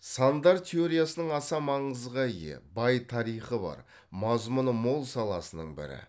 сандар теориясының аса маңызға ие бай тарихы бар мазмұны мол саласының бірі